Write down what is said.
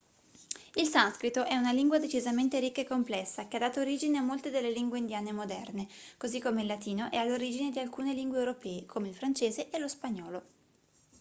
il sanscrito è una lingua decisamente ricca e complessa che ha dato origine a molte delle lingue indiane moderne così come il latino è all'origine di alcune lingue europee come il francese e lo spagnolo